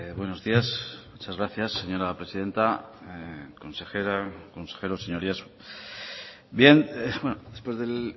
buenos días muchas gracias señora presidenta consejera consejeros señorías bien después del